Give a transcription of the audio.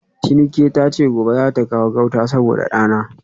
Tinuke tace gobe zata kawo gauta saboda dana